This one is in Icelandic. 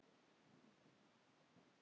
Þessir piltar eru bara búnir.